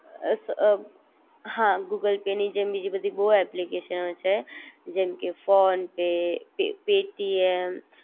અ અ હા Google Pay ની જેમ બીજી બધી બોવ ઍપ્લિકેશનો છે જેમકે ફોન પે, પેટીએમ